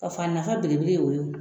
K'a fɔ a nafa belebele y'o ye